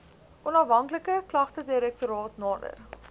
onafhanklike klagtedirektoraat nader